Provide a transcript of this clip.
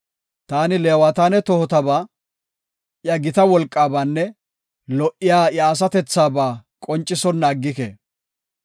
“Taani Leewataane tohotaba, iya gita wolqaabanne lo77iya iya asatethaba qoncisonna aggike.